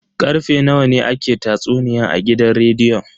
Karfe nawa ne ake tatsuniyan a gidan rediyon?